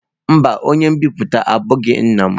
Mba, onye nbipute abụghị nna m.